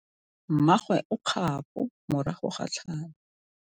Mmagwe o kgapô morago ga tlhalô.